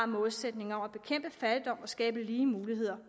målsætning om at bekæmpe fattigdom og skabe lige muligheder